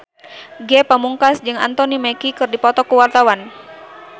Ge Pamungkas jeung Anthony Mackie keur dipoto ku wartawan